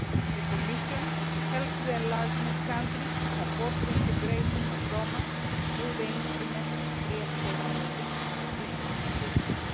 The Commission is helping the enlargement countries to support integration of Roma through the instrument of pre accession assistance.